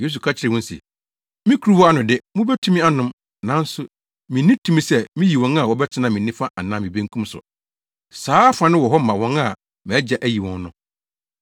Yesu ka kyerɛɛ wɔn se, “Me kuruwa ano de, mubetumi anom, nanso minni tumi sɛ miyi wɔn a wɔbɛtena me nifa anaa me benkum so. Saa afa no wɔ hɔ ma wɔn a mʼAgya ayi wɔn no.”